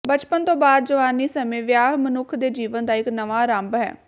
ਬਚਪਨ ਤੋਂ ਬਾਅਦ ਜਵਾਨੀ ਸਮੇਂ ਵਿਆਹ ਮਨੁੱਖ ਦੇ ਜੀਵਨ ਦਾ ਇਕ ਨਵਾਂ ਆਰੰਭ ਹੈ